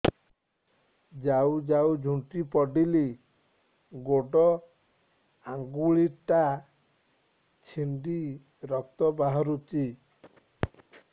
ଯାଉ ଯାଉ ଝୁଣ୍ଟି ପଡ଼ିଲି ଗୋଡ଼ ଆଂଗୁଳିଟା ଛିଣ୍ଡି ରକ୍ତ ବାହାରୁଚି